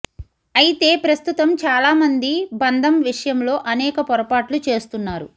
అయితే ప్రస్తుతం చాలా మంది బంధం విషయంలో అనేక పొరపాట్లు చేస్తున్నారు